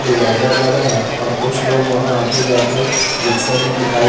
divider लगा है और कुछ लोग वहां आते जाते रिक्शे में दिखाई--